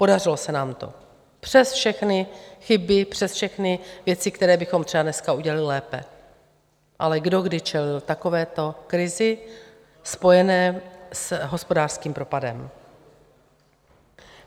Podařilo se nám to přes všechny chyby, přes všechny věci, které bychom třeba dneska udělali lépe, ale kdo kdy čelil takovéto krizi spojené s hospodářským propadem?